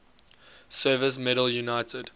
service medal united